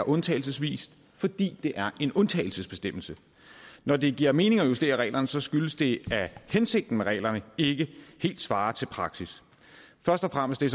undtagelsesvis fordi det er en undtagelsesbestemmelse når det giver mening at justere reglerne skyldes det at hensigten med reglerne ikke helt svarer til praksis først og fremmest er